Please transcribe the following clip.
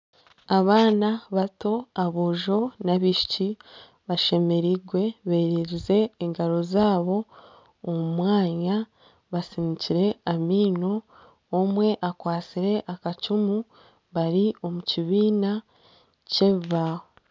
Abaana bato aboojo n'abaishiki bashemerirwe beererize engaro zaabo omu mwanya basiniikire amaino, omwe akwatsire akacumu bari omu kibiina ky'ebibaho.